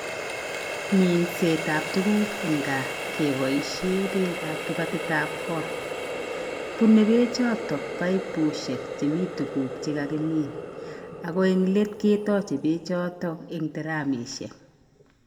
Minsetab tuguk eng gaa keboishee beekab kibatitab goot, bunei beechotok paipushek chemi tuguk che kakimin ako eng let ketoche beechotok eng taramishek.